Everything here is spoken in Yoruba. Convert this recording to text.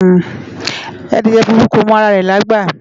Adìẹ funfun kò mọ ara rẹ̀lágbà